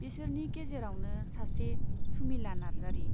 बिसोरनि गेजेरावनो सासे सुमिला नार्जारी।